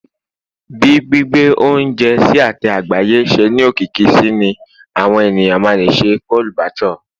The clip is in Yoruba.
bi gbigbe ounjẹ sí ate àgbáyé se ni okiki sí ni àwọn ènìyàn ma le sẹ chole bhature